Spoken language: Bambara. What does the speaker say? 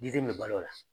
Diden bɛ balo la